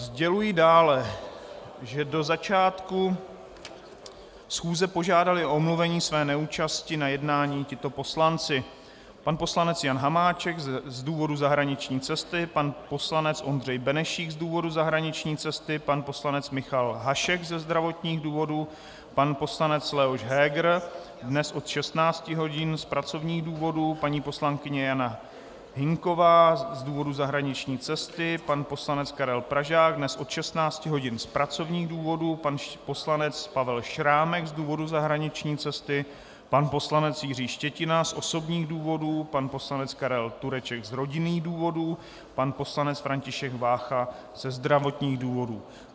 Sděluji dále, že do začátku schůze požádali o omluvení své neúčasti na jednání tito poslanci: pan poslanec Jan Hamáček z důvodu zahraniční cesty, pan poslanec Ondřej Benešík z důvodu zahraniční cesty, pan poslanec Michal Hašek ze zdravotních důvodů, pan poslanec Leoš Heger dnes od 16 hodin z pracovních důvodů, paní poslankyně Jana Hynková z důvodů zahraniční cesty, pan poslanec Karel Pražák dnes od 16 hodin z pracovních důvodů, pan poslanec Pavel Šrámek z důvodu zahraniční cesty, pan poslanec Jiří Štětina z osobních důvodů, pan poslanec Karel Tureček z rodinných důvodů, pan poslanec František Vácha ze zdravotních důvodů.